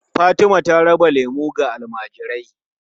Fatima ta raba lemu ga almajirai.